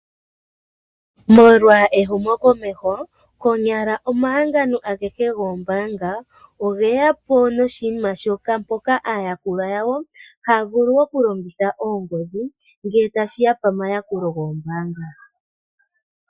Molwa ehumokomeho konyala omahangano agehe goombaanga ogeyapo noshinima shoka mpoka aayakulwa yawo haya vulu okulongitha oongodhi ngele tashiya pomayakulo moombanga